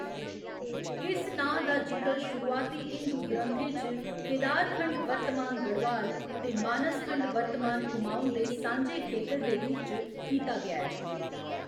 इस नांऽ दा जिकर शुरुआती हिंदू ग्रंथें च केदारखंड वर्तमान गढ़वाल ते मानसखंड वर्तमान कुमाऊँ दे सांझे खेतर दे रूप च कीता गेआ ऐ।